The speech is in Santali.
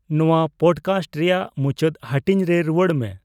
ᱱᱚᱣᱟ ᱯᱚᱰᱠᱟᱥᱴ ᱨᱮᱭᱟᱜ ᱢᱩᱪᱟᱹᱫ ᱦᱟᱹᱴᱤᱧ ᱨᱮ ᱨᱩᱣᱟᱹᱲ ᱢᱮ